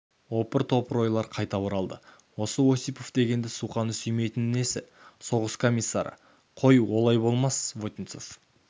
опыр-топыр ойлар қайта оралды осы осипов дегенді суқаны сүймейтіні несі соғыс комиссары қой олай болмас вотинцев